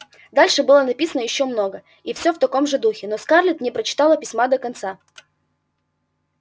дальше было написано ещё много и всё в таком же духе но скарлетт не прочитала письма до конца